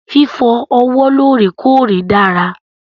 Fífọ ọwọ́ lọ́rèkọ́ọ̀rè dára.